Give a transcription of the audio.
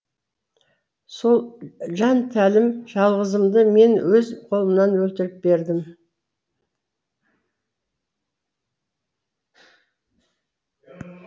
сол жантелім жалғызымды мен өз қолыммен өлтіріп бердім